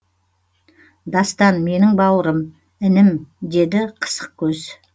дастан менің бауырым інім деді қысықкөз